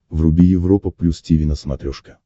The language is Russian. вруби европа плюс тиви на смотрешке